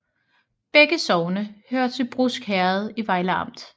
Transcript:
Begge sogne hørte til Brusk Herred i Vejle Amt